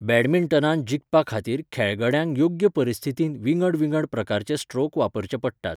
बॅडमिंटनांत जिखपा खातीर खेळगड्यांक योग्य परिस्थितींत विंगड विंगड प्रकारचे स्ट्रोक वापरचे पडटात.